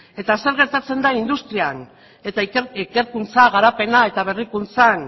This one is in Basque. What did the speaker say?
eta zer gertatzen da industrian eta ikerkuntza garapena eta berrikuntzan